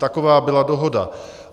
Taková byla dohoda.